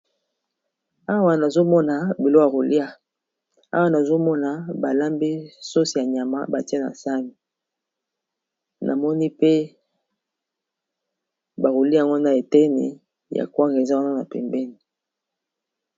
Awa nazomona biloko ya koliya, nazomona balambi sauce ya nyama batie na saani, namoni pe bakolia yango na eteni ya kwanga eza wana pembeni.